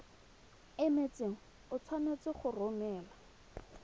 emetseng o tshwanetse go romela